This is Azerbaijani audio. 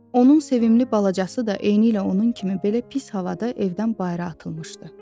Onun sevimli balacası da eynilə onun kimi belə pis halda evdən bayıra atılmışdı.